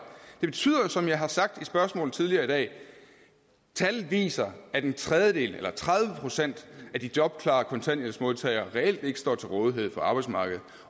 det betyder jo det som jeg har sagt tidligere i dag tallet viser at en tredjedel eller tredive procent af de jobklare kontanthjælpmodtagere reelt ikke står til rådighed for arbejdsmarkedet